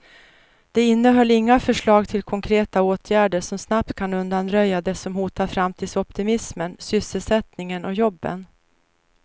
Det innehöll inga förslag till konkreta åtgärder som snabbt kan undanröja det som hotar framtidsoptimismen, sysselsättningen och jobben.